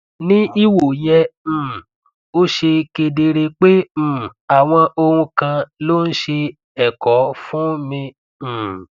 ní ìwò yẹn um ó ṣe kedere pé um àwọn ohun kan ló ń ṣe ẹkọ fún mi um